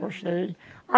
Gostei.